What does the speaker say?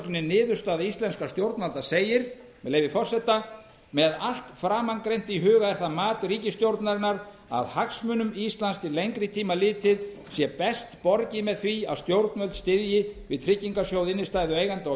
kaflafyrirsögninni niðurstaða íslenskra stjórnvalda segir með leyfi forseta með allt framangreint í huga er það mat ríkisstjórnarinnar að hagsmunum íslands til lengri tíma litið sé best borgið með því að stjórnvöld styðji við tryggingasjóð innstæðueiganda og